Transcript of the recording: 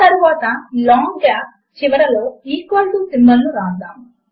ఆ తరువాత long gaps చివరలో ఈక్వల్ టు సింబల్ ను వ్రాద్దాము